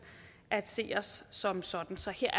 at se os som sådan så her